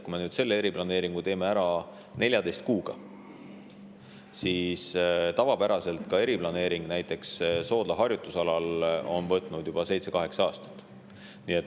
Kui me nüüd selle eriplaneeringu teeme ära 14 kuuga, siis tavapäraselt on eriplaneering, näiteks Soodla harjutusalal, võtnud aega 7–8 aastat.